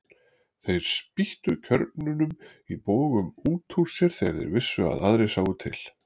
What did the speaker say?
Þeir spýttu kjörnunum í bogum út úr sér þegar þeir vissu að aðrir sáu til.